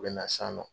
U bɛ na san nɔ